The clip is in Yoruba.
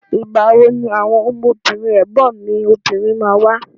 Ìgbà wo ni àwọn ọmọbìnrin ẹ̀gbọ́n mi obìnrin ma wá?